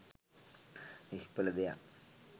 නිශ්ඵල දෙයක්.